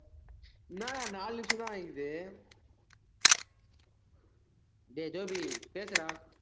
என்னடா நாலு நிமிஷம்தான் ஆயிருக்குது டேய் கோபி பேசுடா